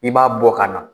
I b'a bɔ ka na